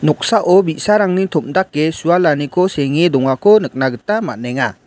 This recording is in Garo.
noksao bi·sarangni tom·dake sualaniko senge dongako nikna gita man·enga.